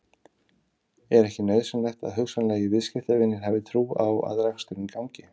Er ekki nauðsynlegt að hugsanlegir viðskiptavinir hafi trú á að reksturinn gangi?